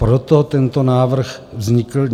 Proto tento návrh vznikl.